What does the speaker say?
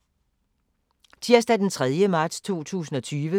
Tirsdag d. 3. marts 2020